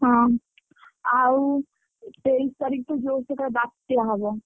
ହଁ ଆଉ ତେଇଶି ତାରିଖ ଠୁ ଜୋରସେ କାଳେ ବାତ୍ୟା ହବ।